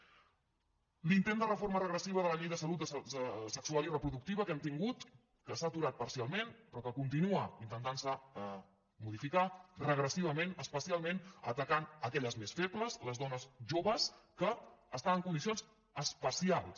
l’intent de reforma regressiva de la llei de salut sexual i reproductiva que hem tingut que s’ha aturat parcialment però que continua intentant se modificar regressivament especialment atacant aquelles més febles les dones joves que estan en condicions especials